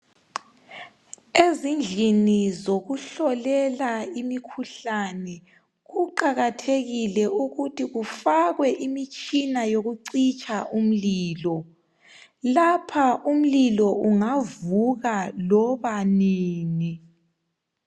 Ezindlini zokuhlolela imikhuhlane kuqakathekile ukuthi kufakwe imitshina yokucitsha umlilo. Lapha umlilo ungavuka loba nini.